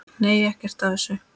Nei, ekkert af þessu.